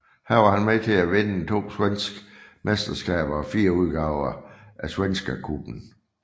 Her var han med til at vinde to svenske mesterskaber og fire udgaver af Svenska Cupen